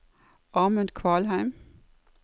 Amund Kvalheim